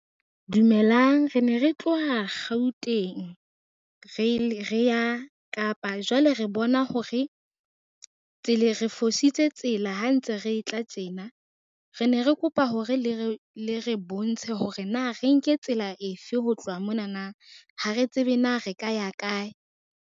Dumelang re ne re tloha Gauteng, re re ya Kapa jwale re bona hore, re fositse tsela ha ntse re tla tjena re ne re kopa hore le re bontshe hore na re nke tsela efe ho tloha monana, ha re tsebe na re ka ya kae.